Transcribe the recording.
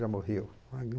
Já morreu.